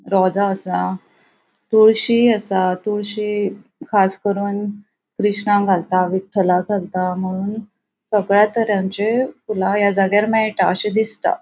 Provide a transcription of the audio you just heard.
रॉजा असा तुळशी असा तुळशी खास करून कृष्णाक घालता विठ्ठलाक घालता मुनोन सगळ्या तरांची फुला या जाग्यार मेळटा अशे दिसता.